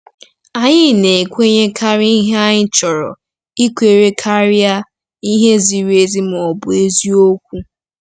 Anyị na-ekwenyekarị ihe anyị chọrọ ikwere karịa ihe ziri ezi ma ọ bụ eziokwu.